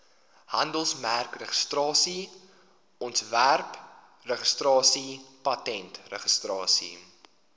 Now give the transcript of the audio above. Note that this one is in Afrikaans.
handelsmerkregistrasie ontwerpregistrasie patentregistrasie